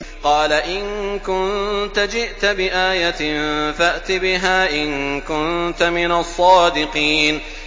قَالَ إِن كُنتَ جِئْتَ بِآيَةٍ فَأْتِ بِهَا إِن كُنتَ مِنَ الصَّادِقِينَ